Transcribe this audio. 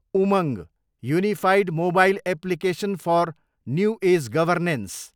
Umang, unified mobile application for new age governance